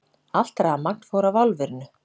Allt rafmagn fór af álverinu